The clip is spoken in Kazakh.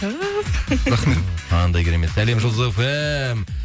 түһ қандай керемет сәлем жұлдыз фм